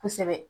Kosɛbɛ